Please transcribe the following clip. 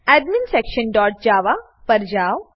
adminsectionજાવા પર જાવ